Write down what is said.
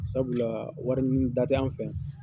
Sabula wari ɲinida t'anw fɛ yan.